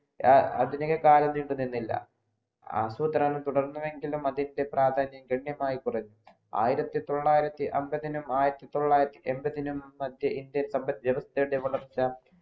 അധിക കാലം നീണ്ടു നിന്നില്ല ആസൂത്രണം തുറന്നുവെങ്കിലും അതിൻ്റെ പ്രാധന്യം ധന്യമായി കുറഞ്ഞു ആയിരത്തി തൊള്ളായിരത്തി അമ്പതിനും ആയിരത്തി തൊള്ളായിരത്തി എമ്പതിയും മദ്യ ഇന്ത്യ ജനസംഖ്യവളർച്ച